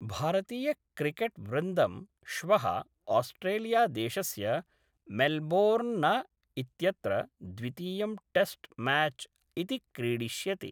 भारतीयक्रिकेट्वृन्दं श्व: ऑस्ट्रेलियादेशस्य मेल्बोर्न इत्यत्र द्वितीयं टेस्ट् म्याच् इति क्रीडिष्यति।